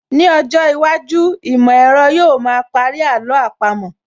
Ní ọjọ́ iwájú, ìmọ̀ ẹ̀rọ yóò ma parí àló àpamọ́